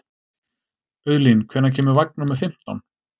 Auðlín, hvenær kemur vagn númer fimmtán?